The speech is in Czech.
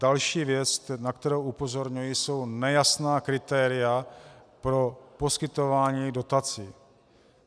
Další věc, na kterou upozorňuji, jsou nejasná kritéria pro poskytování dotací.